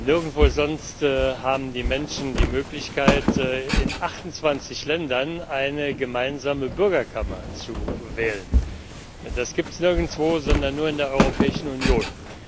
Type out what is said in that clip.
Nirgendwo sonst haben die Menschen die Möglichkeit, in 28 Ländern eine gemeinsame Bürgerkammer zu wählen. Ja, das gibt es sonst nirgends, sondern nur in der Europäischen Union.